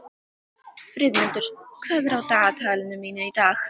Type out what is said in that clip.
Friðmundur, hvað er á dagatalinu mínu í dag?